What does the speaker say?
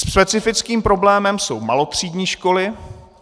Specifickým problémem jsou malotřídní školy.